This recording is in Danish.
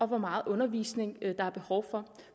hvor meget undervisning der er behov for